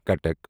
کَٹکَ